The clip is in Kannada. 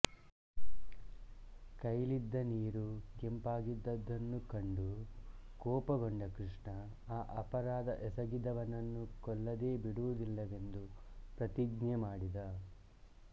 ಕೈಲಿದ್ದ ನೀರು ಕೆಂಪಾಗಿದ್ದುದನ್ನು ಕಂಡು ಕೋಪಗೊಂಡ ಕೃಷ್ಣ ಆ ಅಪರಾಧ ಎಸಗಿದವನನ್ನು ಕೊಲ್ಲದೆ ಬಿಡುವುದಿಲ್ಲವೆಂದು ಪ್ರತಿಜ್ಞೆ ಮಾಡಿದ